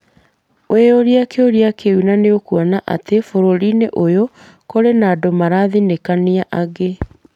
Wĩyũrie kĩũria kĩu na nĩ ũkuona atĩ bũrũri-inĩ ũyũ kũrĩ na andũ marathinĩkania angĩ.